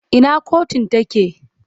Ina kotun take?